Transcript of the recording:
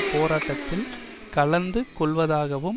போராட்டத்தில் கலந்து கொள்ளுவதாகவும்